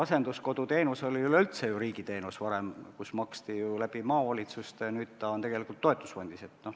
Asenduskoduteenus oli üleüldse ju varem riigiteenus, maksti maavalitsuste kaudu, nüüd on see raha tegelikult toetusfondis.